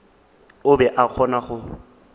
o be a kgona go